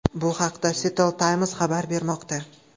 Bu haqda Seattle Times xabar bermoqda .